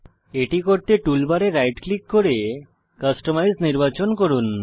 এটি করতে টুলবারে রাইট ক্লিক করে কাস্টমাইজ নির্বাচন করুন